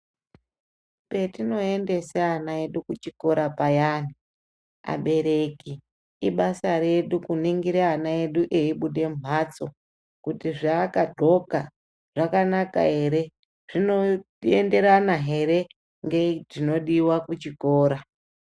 Petinoendese ana edu kuchikora payani abereki ibasa redu kuningire ana edu eibude mumhatso kuti zvaakandxoka zvakanaka ere zvinoendera here nezvinodiwa kuchikora.